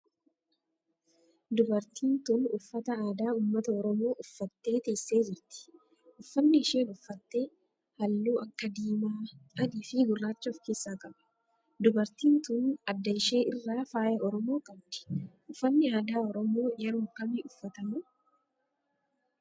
Dubartiin tun uffata aadaa ummata oromoo uffattee teessee jirti. Uffanni isheen uffatte halluu akka diimaa, adii fi gurraacha of keessaa qaba. Dubartin tun adda ishee irraa faaya oromoo qabdi. Uffanni aadaa oromoo yeroo akkamii uffatama?